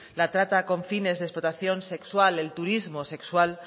la trata con fines de explotación sexual el turismo sexual